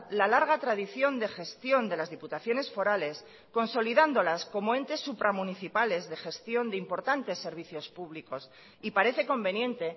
la larga tradición de gestión de las diputaciones forales consolidándolas como entes supramunicipales de gestión de importantes servicios públicos y parece conveniente